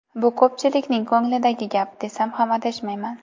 Bu ko‘pchilikning ko‘nglidagi gap, desam ham adashmayman.